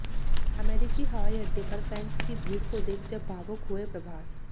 अमेरिकी हवाई अड्डे पर फैंस की भीड़ को देख जब भावुक हुए प्रभास